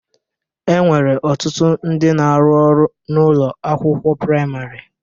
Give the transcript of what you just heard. E nwere ọtụtụ ndị na-arụ ọrụ n'ụlọ akịwụkwọ praịmarị.